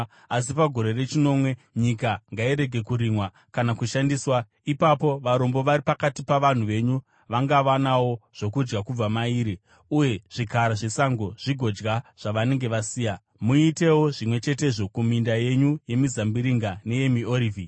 asi pagore rechinomwe nyika ngairege kurimwa kana kushandiswa. Ipapo varombo vari pakati pavanhu venyu vangawanawo zvokudya kubva mairi, uye zvikara zvesango zvigodya zvavanenge vasiya. Muitewo zvimwe chetezvo kuminda yenyu yemizambiringa neyemiorivhi.